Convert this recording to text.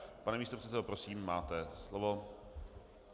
Pane místopředsedo, prosím, máte slovo.